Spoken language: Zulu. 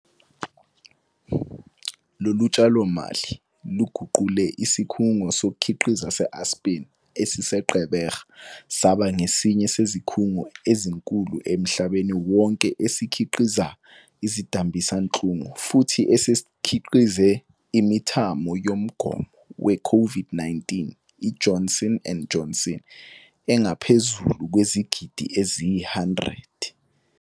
Lolu tshalo mali luguqule isikhungo sokukhiqiza seAspen esise-Gqeberha saba ngesinye sezikhungo ezinkulu emhlabeni wonke esikhiqiza izidambisinhlungu futhi esesikhiqize imithamo yomgomo weCOVID-19 i-Johnson and Johnson engaphezulu kwezigidi eziyi-100.